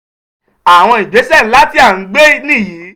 "àwọn ìgbésẹ̀ ńlá tí a ń gbé nìyí.